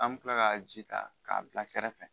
An bɛ tila ka ji ta, k'a bila kɛrɛfɛ.